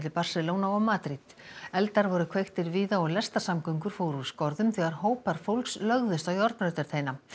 Barcelona og Madríd eldar voru kveiktir víða og lestarsamgöngur fóru úr skorðum þegar hópar fólks lögðust á járnbrautarteina